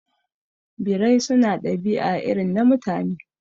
Birai su na ɗabi'a irin na Mutane